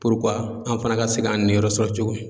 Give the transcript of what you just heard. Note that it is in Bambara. an fana ka se k'an niyɔrɔ sɔrɔ cogo min.